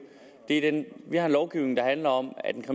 vi har en lovgivning der handler om at den